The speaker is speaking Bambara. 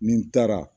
Nin taara